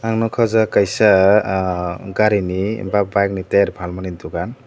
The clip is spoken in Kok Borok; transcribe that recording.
ang nugkha aw jaaga kaisa gari ni ba bike ni terfang mani dugan.